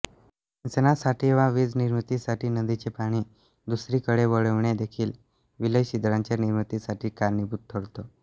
सिंचनासाठी वा वीजनिर्मितीसाठी नदीचे पाणी दुसरीकडे वळविणे देखील विलयछिद्रांच्या निर्मितीसाठी कारणीभूत ठरतो